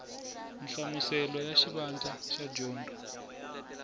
nhlamuselo ya xivandla xa dyondzo